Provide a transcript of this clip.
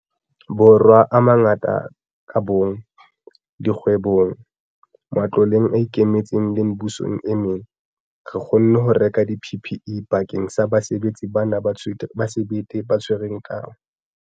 Borwa a mangata ka bomong, dikgwebong, matloleng a ikemetseng le mebusong e meng, re kgonne ho reka di-PPE bakeng sa basebetsi bana ba sebete ba tshwereng teu.